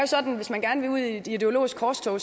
sådan at hvis man gerne vil ud i et ideologisk korstog